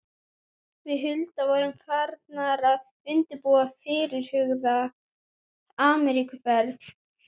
Við Hulda vorum farnar að undirbúa fyrirhugaða Ameríkuferð.